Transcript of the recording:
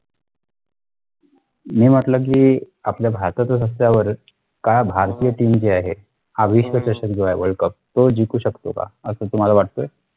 मी म्हंटल कि आपल्या भारताच्या रस्त्यावरचं काय भारतीय team जी आहे हा विश्वचषक जो आहे world cup तो जिंकू शकतो का असं तुम्हाला वाटतंय